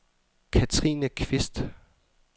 Katrine Qvist